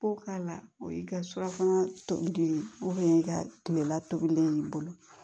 Ko k'a la o y'i ka surafana tobi i ka tilela tobilen i bolo